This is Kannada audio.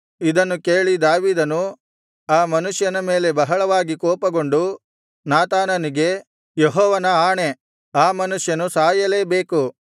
ಇದನ್ನು ಕೇಳಿ ದಾವೀದನು ಆ ಮನುಷ್ಯನ ಮೇಲೆ ಬಹಳವಾಗಿ ಕೋಪಗೊಂಡು ನಾತಾನನಿಗೆ ಯೆಹೋವನ ಆಣೆ ಆ ಮನುಷ್ಯನು ಸಾಯಲೇಬೇಕು